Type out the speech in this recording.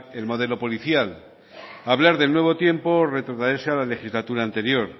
el modelo policial hablar del nuevo tiempo retrotraerse a la legislatura anterior